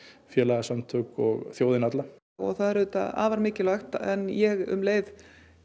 félagasamtök og þjóðina alla það er auðvitað afar mikilvægt en ég um leið